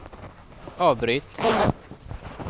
avbryt